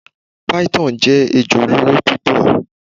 Python jẹ ejo oloro pupọ